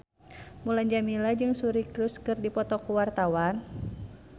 Mulan Jameela jeung Suri Cruise keur dipoto ku wartawan